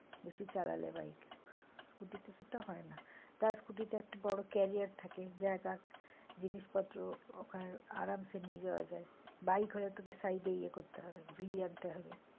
বেশি চালালে bikescotty তে সেটা হয় না তার scooty তা একটা বড়ো একটা কেরিয়ার থাকে জায়গা জিনিসপত্র ওখানে আরামসে নিয়ে যাওয়া যায় bike হলে তোকে side এ ইয়ে করতে হবে ঝুলিয়ে আনতে হবে।